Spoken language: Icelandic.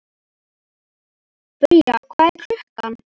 Bría, hvað er klukkan?